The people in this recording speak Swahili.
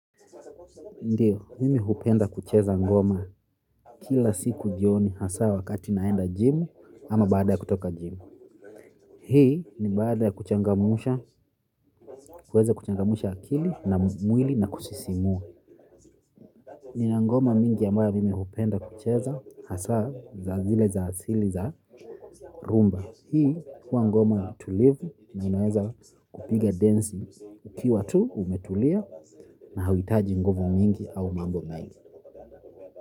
Ndiyo, mimi hupenda kucheza ngoma kila siku jioni hasa wakati naenda gym ama baada ya kutoka gym. Hii ni baada ya kuchangamusha, kuweza kuchangamusha akili na mwili na kusisimua. Nina ngoma mingi ambayo mimi hupenda kucheza hasa za zile za sili za rumba. Hii kuwa ngoma tulivu na unaweza kupiga dancing ukiwa tu umetulia na hauwitaji nguvu mingi au mambo mengi.